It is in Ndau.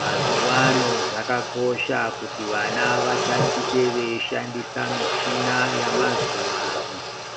Mazuwaano zvakakosha kuti vana vatatiche veishandisa michina yemazuwaano